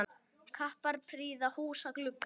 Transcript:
Kappar prýða húsa glugga.